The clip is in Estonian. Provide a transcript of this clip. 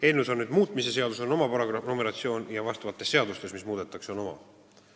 Eelnõus on muutmise seadus oma numeratsiooniga ja seadustes, mida muudetakse, on oma numeratsioon.